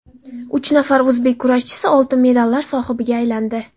Uch nafar o‘zbek kurashchisi oltin medallar sohibiga aylandi.